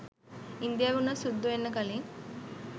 ඉන්දියාවේ උනත් සුද්දෝ එන්න කලින්